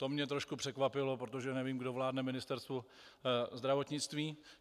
To mě trošku překvapilo, protože nevím, kdo vládne Ministerstvu zdravotnictví.